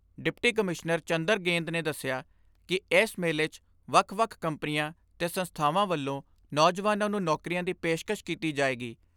Deputy commissioner Chander Gaind ਨੇ ਦਸਿਆ ਕਿ ਏਸ ਮੇਲੇ 'ਚ ਵੱਖ ਵੱਖ ਕੰਪਨੀਆਂ ਤੇ ਸੰਸਥਾਵਾਂ ਵੱਲੋਂ ਨੌਜਵਾਨਾਂ ਨੂੰ ਨੌਕਰੀਆਂ ਦੀ ਪੇਸ਼ਕਸ਼ ਕੀਤੀ ਜਾਏਗੀ।